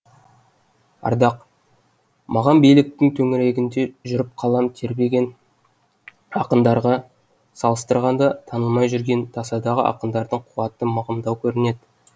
ардақ маған биліктің төңірегінде жүріп қалам тербеген ақындарға салыстырғанда танылмай жүрген тасадағы ақындардың қуаты мығымдау көрінеді